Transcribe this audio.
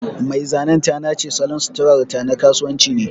Mai zanen ta nace salon suturarta na kasuwanci ne.